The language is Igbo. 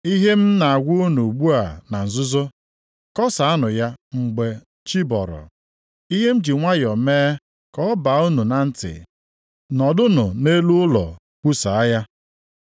Ihe m na-agwa unu ugbu a na nzuzo, kọsaanụ ya mgbe chi bọrọ. Ihe m ji nwayọọ mee ka ọ baa unu na ntị, nọdụnụ nʼelu ụlọ kwusaa ya.